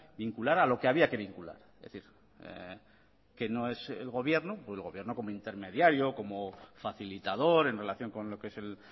vincular a lo que había que vincular es decir que no es el gobierno como intermediario como facilitador en relación con lo que es el